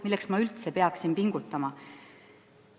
Milleks ma peaksin üldse pingutama?